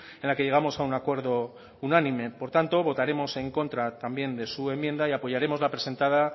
en la que llegamos a un acuerdo unánime por tanto votaremos en contra también de su enmienda y apoyaremos la presentada